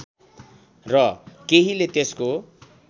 र केहीले त्यसको